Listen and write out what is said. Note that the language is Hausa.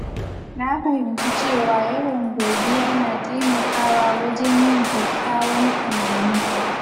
Na fahimci cewa yawan godiya na taimakawa wajen yin kyakkyawan tunani.